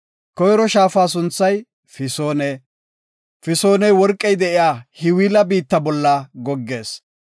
Koyro shaafa sunthay Fisoone. Fisooney worqey de7iya Hawila biitta bolla goggees.